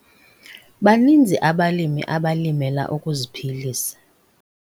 Baninzi abalimi abalimela ukuziphililsa.